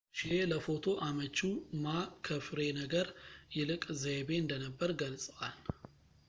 ሺዬ ለፎቶ አመቺው ማ ከፍሬ ነገር ይልቅ ዘይቤ እንደነበር ገልጸዋል